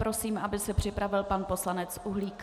Prosím, aby se připravil pan poslanec Uhlík.